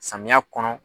Samiya kɔnɔ